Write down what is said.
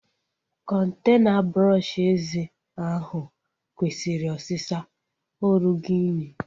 Kọntena brọọshi eze ahụ kwesịrị osịsa. Ọ rụgo unyi